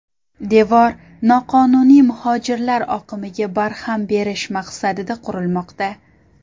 Devor noqonuniy muhojirlar oqimiga barham berish maqsadida qurilmoqda.